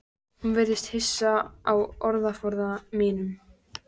Hún virðist hissa á orðaforða mínum.